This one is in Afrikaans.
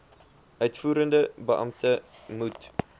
uitvoerende beampte moet